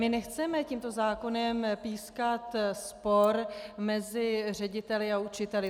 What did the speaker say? My nechceme tímto zákonem pískat spor mezi řediteli a učiteli.